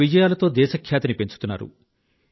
తమ విజయాలతో దేశఖ్యాతిని పెంచుతున్నారు